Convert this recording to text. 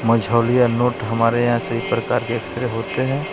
Majhaulia note हमारे यहां सही प्रकार के एक्सरे होते हैं।